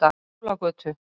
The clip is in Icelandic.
Skúlagötu